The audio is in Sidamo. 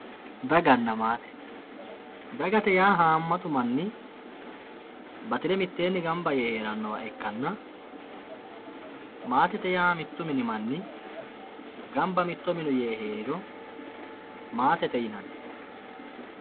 daganna maate dagate yaa manni batire mitteenni ganba yee heerannowa ikkanna maatete yaa mittu mini manni ganba mitto mine yee heeriro maatete yinanni